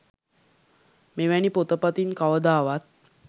මෙවැනි පොත පතින් කවදාවත්